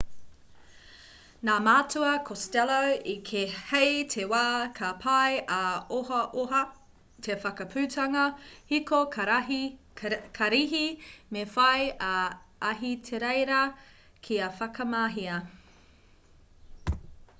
nā matua costello i kī hei te wā ka pai ā-ohaoha te whakaputanga hiko karihi me whai a ahitereiria kia whakamahia